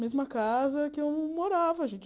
Mesma casa que eu morava, gente.